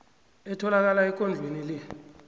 etholakala ekondlweni le